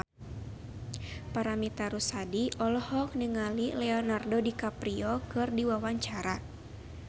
Paramitha Rusady olohok ningali Leonardo DiCaprio keur diwawancara